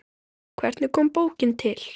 Hvernig kom bókin til?